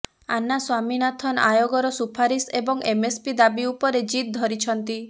ଆନ୍ନା ସ୍ୱାମୀନାଥନ୍ ଆୟୋଗର ସୁପାରିଶ ଏବଂ ଏମଏସପି ଦାବି ଉପରେ ଜିଦ୍ ଧରିଛନ୍ତି